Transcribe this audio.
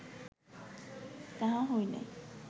তাহা হইলে